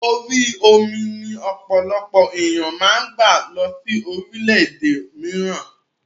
Orí omi ni ọ̀pọ̀lọpọ̀ ènìyàn máa ń gba lọ sí orílédé mìíràn